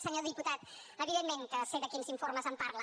senyor diputat evidentment que sé de quins informes em parla